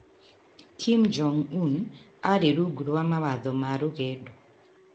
Kim Jong-un arĩ rungu rwa mawatho ma rũgendo.